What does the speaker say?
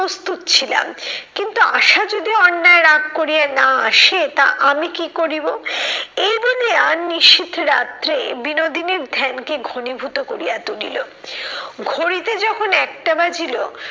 প্রস্তুত ছিলাম কিন্তু আশা যদি অন্যায় রাগ করিয়া না আসে তা আমি কি করিবো? এই বলিয়া নিশীথ রাত্রে বিনোদিনীর ধ্যানকে ঘনীভূত করিয়া তুলিল। ঘড়িতে যখন একটা বাজিল